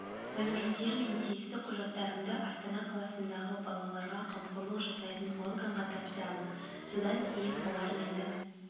мәліметтер мен тиісті құжаттарымды астана қаласындағы балаларға қамқорлық жасайтын органға тапсырамын содан кейін олар мені